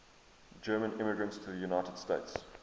german immigrants to the united states